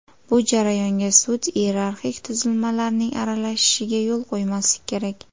Bu jarayonga sud iyerarxik tuzilmalarining aralashishiga yo‘l qo‘ymaslik kerak.